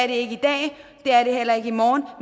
ikke i dag og det er det heller ikke i morgen